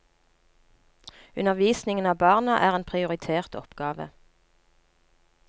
Undervisningen av barna er en prioritert oppgave.